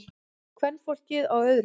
Kvenfólkið á öðrum.